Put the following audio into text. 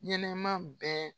Ɲɛnɛman bɛɛ